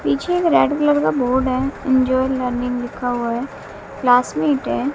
पीछे एक red colour का बोर्ड है जो लर्निंग लिखा हुआ है क्लासमेट है।